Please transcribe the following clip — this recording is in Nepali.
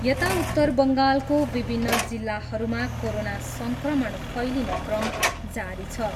यता उत्तर बङ्गालको विभिन्न जिल्लाहरूमा कोरोना सङ्क्रमण फैलिने क्रम जारी छ।